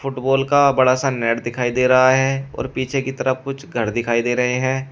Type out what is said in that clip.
Football का बड़ा सा नेट दिखाई दे रहा है और पीछे की तरफ कुछ घर दिखाई दे रहे हैं।